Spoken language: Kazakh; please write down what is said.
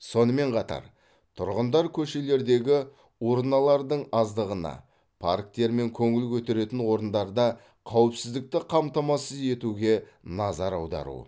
сонымен қатар тұрғындар көшелердегі урналардың аздығына парктер мен көңіл көтеретін орындарда қауіпсіздікті қамтамасыз етуге назар аудару